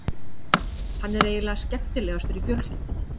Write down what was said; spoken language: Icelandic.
Hann er eiginlega skemmtilegastur í fjölskyldunni.